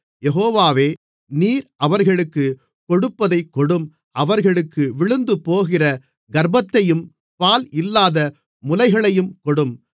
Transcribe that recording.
யெகோவாவே நீர் அவர்களுக்குக் கொடுப்பதைக் கொடும் அவர்களுக்கு விழுந்துபோகிற கர்ப்பத்தையும் பால் இல்லாத முலைகளையும் கொடும்